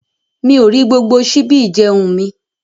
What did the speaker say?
Mi ò rí gbogbo ṣíbí ìjẹ̀un mí.